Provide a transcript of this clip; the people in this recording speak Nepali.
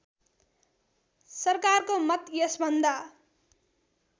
सरकारको मत यसभन्दा